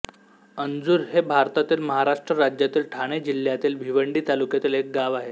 अंजूर हे भारतातील महाराष्ट्र राज्यातील ठाणे जिल्ह्यातील भिवंडी तालुक्यातील एक गाव आहे